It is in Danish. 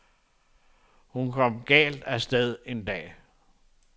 Hun kom galt af sted en dag.